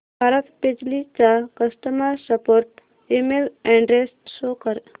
भारत बिजली चा customer support email address show कर